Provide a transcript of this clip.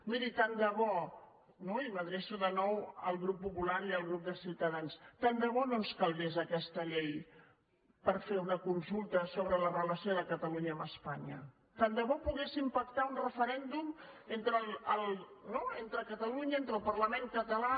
miri tant de bo i m’adreço de nou al grup popular i al grup de ciutadans tant de bo no ens calgués aquesta llei per fer una consulta sobre la relació de catalunya amb espanya tant de bo poguéssim pactar un referèndum entre catalunya entre el parlament català